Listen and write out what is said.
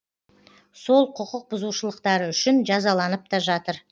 сол құқық бұзушылықтары үшін жазаланып та жатыр